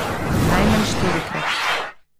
Najmanj štirikrat.